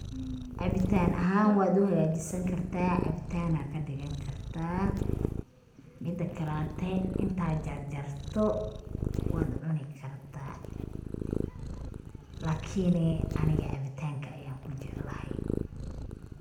Cabitaan ahaan wad u hagaa jisinkartaa cabitaan ayaa kadhigin kartaa. Mida kaleeto, inta aad jarjarto wad cuni kartaa. lakini aniga cabitaanka ayaan ku jeclahay.